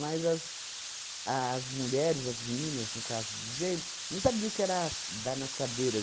Mas as as mulheres, as meninas, no caso dizendo, não sabiam o que era as dar nas cadeiras.